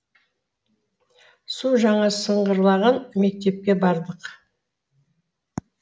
су жаңа сыңғырлаған мектепке бардық